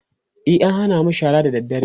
e an Hana mu shara da dadre